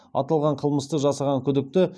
аталған қылмысты жасаған күдікті